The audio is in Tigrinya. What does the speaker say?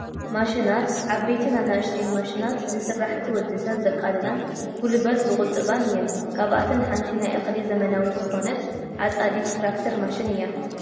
ማሽናት፡- ዓበይትን ኣናእሽተይን ማሽናት ንስራሕቲ ወዲ ሰብ ዘቃልላን ጉልበት ዝቑጥባን እየን፡፡ ካብኣተን ሓንቲ ናይ እኽሊ ዘመናዊት ዝኾነት ዓፃዲት ትራክተር ማሽን እያ፡፡